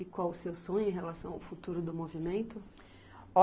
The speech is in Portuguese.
E qual o seu sonho em relação ao futuro do movimento?